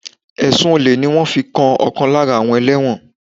Ẹ̀sùn Olè ni wọ́n fi kan ọ̀kan lára àwọn ẹlẹ́wọ̀n